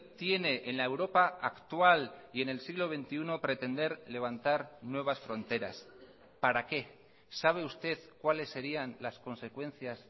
tiene en la europa actual y en el siglo veintiuno pretender levantar nuevas fronteras para qué sabe usted cuáles serían las consecuencias